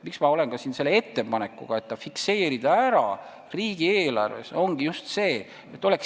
Miks ma olen siin ettepanekuga fikseerida see summa riigieelarves?